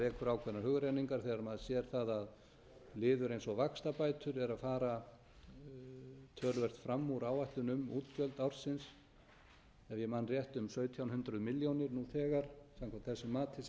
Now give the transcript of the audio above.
þegar maður sér það að liður eins og vaxtabætur er að fara töluvert fram úr áætlun um útgjöld ársins ef ég man rétt um sautján hundruð milljónir nú þegar samkvæmt þessu mati sem